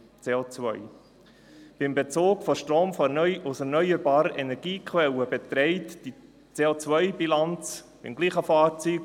Beim Bezug von Strom aus erneuerbaren Energiequellen beträgt die CO-Bilanz beim gleichen Fahrzeug